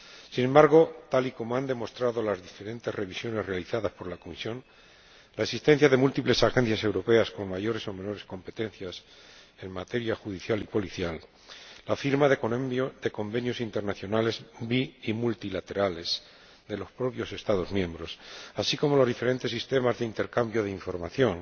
Sin embargo, tal y como han demostrado las diferentes revisiones realizadas por la Comisión, la asistencia de múltiples agencias europeas con mayores o menores competencias en materia judicial y policial, la firma de convenios internacionales bilaterales y multilaterales de los propios Estados miembros, así como los diferentes sistemas de intercambio de información